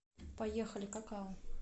поехали какао